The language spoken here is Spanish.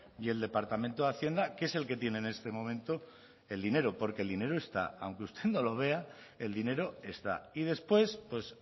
y el departamento de hacienda que es el que tiene en este momento el dinero porque el dinero está aunque usted no lo vea el dinero está y después pues